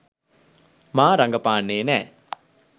මා රඟපාන්නේ නෑ.